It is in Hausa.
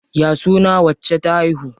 Ya suna wacce ta haihu?